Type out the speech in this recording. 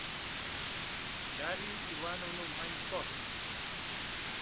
дарью ивановну манько